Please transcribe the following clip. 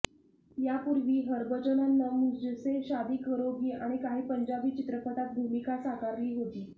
यापूर्वी हरभजननं मुझसे शादी करोगी आणि काही पंजाबी चित्रपटात भूमिका साकारली होती